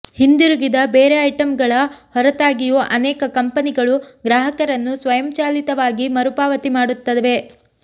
ಹಿಂದಿರುಗಿದ ಬೇರೆ ಐಟಂಗಳ ಹೊರತಾಗಿಯೂ ಅನೇಕ ಕಂಪನಿಗಳು ಗ್ರಾಹಕರನ್ನು ಸ್ವಯಂಚಾಲಿತವಾಗಿ ಮರುಪಾವತಿ ಮಾಡುತ್ತವೆ